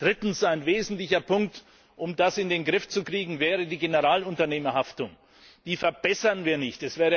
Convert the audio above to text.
Drittens Ein wesentlicher Punkt, um das in den Griff zu kriegen, wäre die Generalunternehmerhaftung die verbessern wir nicht.